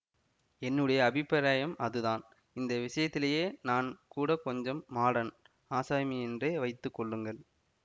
என்னுடைய அபிப்ராயம் அதுதான் இந்த விஷயத்திலயே நான் கூட கொஞ்சம் மாடர்ன் ஆசாமியென்றே வைத்து கொள்ளுங்கள்